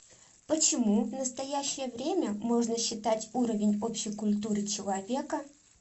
почему в настоящее время можно считать уровень общей культуры человека